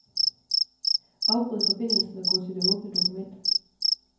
Afbryd forbindelsen og gå til det åbne dokument.